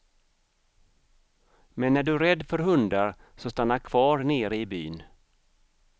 Men är du rädd för hundar så stanna kvar nere i byn.